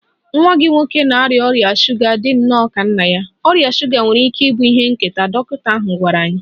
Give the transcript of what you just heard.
Nwa gị nwoke na-arịa ọrịa shuga dị nnọọ ka nna ya, ọrịa shuga nwere ike ịbụ ihe nketa, dọkịta ahụ gwara anyị.